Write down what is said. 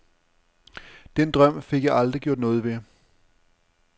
Den drøm fik jeg aldrig gjort noget ved.